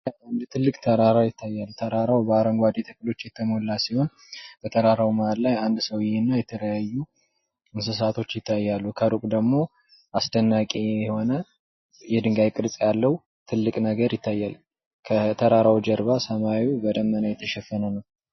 አንድ ትልቅ ተራራ ይታያል፤ ተራራው በአረንጓዴ ተክሎች የተሞላ ሲሆን በተራራው መሃል ላይ አንድ ሰውየና የተለያዩ እንስሳቶች ይታያሉ። ከሩቅ ደግሞ አስደናቂ ቅርጽ ያለው ትልቅ ነገር ይታያል ። ከተራራው ጀርባ ሰማዩ በደመና የተሸፈነ ነው።